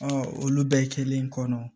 olu bɛɛ kelen kɔnɔ